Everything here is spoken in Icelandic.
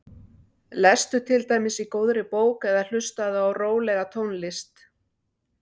Lestu til dæmis í góðri bók eða hlustaðu á rólega tónlist.